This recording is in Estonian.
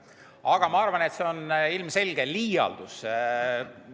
Aga ma arvan, et see on ilmselge liialdus.